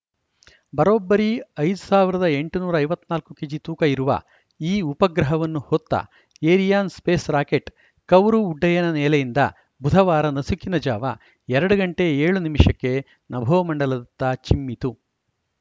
ಬರೋಬ್ಬರಿ ಐದ್ ಸಾವಿರದ ಎಂಟುನೂರ ಐವತ್ತ್ ನಾಲ್ಕು ಕೆಜಿ ತೂಕ ಇರುವ ಈ ಉಪಗ್ರಹವನ್ನು ಹೊತ್ತ ಏರಿಯಾನ್‌ ಸ್ಪೇಸ್‌ ರಾಕೆಟ್‌ ಕೌರು ಉಡ್ಡಯನ ನೆಲೆಯಿಂದ ಬುಧವಾರ ನಸುಕಿನ ಜಾವ ಎರಡು ಗಂಟೆ ಏಳು ನಿಮಿಷ ಕ್ಕೆ ನಭೋಮಂಡಲದತ್ತ ಚಿಮ್ಮಿತು